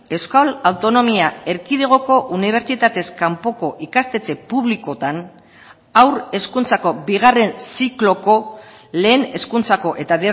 euskal autonomia erkidegoko unibertsitatez kanpoko ikastetxe publikotan haur hezkuntzako bigarren zikloko lehen hezkuntzako eta